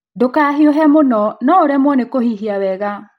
Ndũkahiũhe mũno, no ũremwo nĩ kũhihia wega.